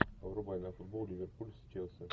врубай нам футбол ливерпуль с челси